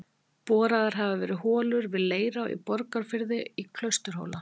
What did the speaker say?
Boraðar hafa verið holur við Leirá í Borgarfirði og Klausturhóla í